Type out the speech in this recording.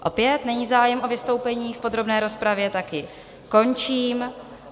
Opět není zájem o vystoupení v podrobné rozpravě, tak ji končím.